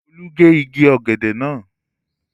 Olú gé igi ọ̀gẹ̀dẹ̀ náà